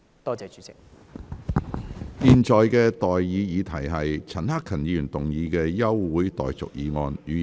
我現在向各位提出的待議議題是：陳克勤議員動議的休會待續議案，予以通過。